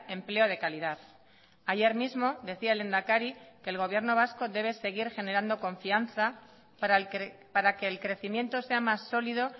empleo de calidad ayer mismo decía el lehendakari que el gobierno vasco debe seguir generando confianza para que el crecimiento sea más sólido